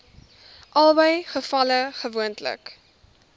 albei gevalle gewoonlik